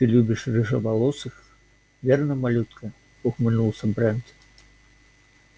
ты любишь рыжеволосых верно малютка ухмыльнулся брент